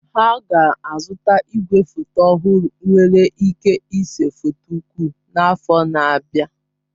Ha ga-azụta igwefoto ọhụrụ nwere ike ịse foto ukwu n'afọ na-abịa.